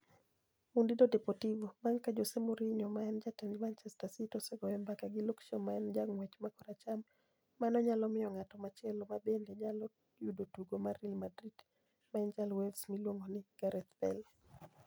( Munido Deportivo) Banig ' ka Jose Mouriniho ma eni jatend Manichester City osegoyo mbaka gi Luke Shaw ma eni janig'wech ma koracham, mano niyalo miyo nig'at machielo ma benide niyalo yudo tugo mar Real Madrid ma eni ja Wales miluonigo nii Gareth Bale.